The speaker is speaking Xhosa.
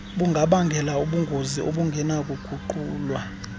bungabangela ubungozi obungenakuguqulwa